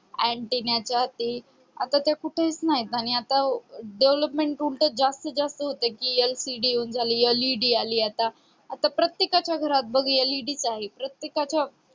antenna यासाठी आता त्या कुठेच नाहीत आणि आता development उलट जास्तीत जास्त होते की LCD झाली LED आली आता आता प्रत्येकाच्या घरात बघ LED च आहे प्रत्येकाच्या